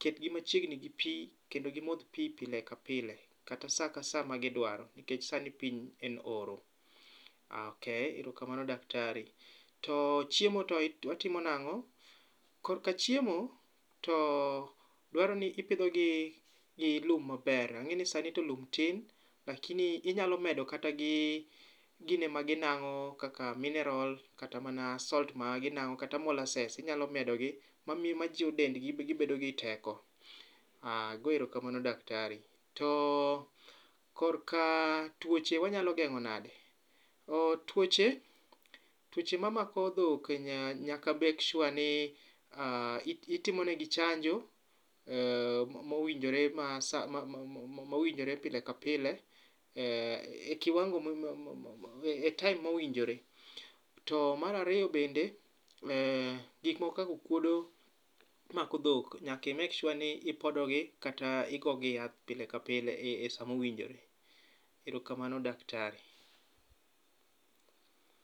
ketgi machiegni gi pi kendo gimodh pi pile ka pile. Katasa ka sa ma gidwaro, nikech sani piny en oro. Ah ok, erokamano datari. To chiemo to watimo nang'o? Korka chiemo to dwaro ni ipidhogi gi lum maber, ang'e ni sani to lum ti, lakini inyalo medo kata gi gine ma gi nang'o kaka mineral kata mana salt ma ginang'o. Kata molasses inyalo medo gi majiwo dendgi ma miyogi teko, ago erokamano daktari. To korka tuoche wanyalo geng'o nade? Oo tuoche, tuoche ma mako dhok nya nyaka make sure ni itimo negi chajo mowinjore ma sa mowinjore pile ka pile. E kiwango ma e time mowinjore. To marariyo bende, gik moko kakokuodo mako dhok nyaki make sure ni ipodo gi kata igogi yath pile ka pile e sa mowinjore. Ero kamano daktari.